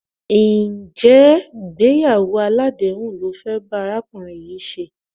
Ǹjẹ́ ìgbéyàwó aládèéhùn lo fẹ́ bá arákùnrin yìí ṣe?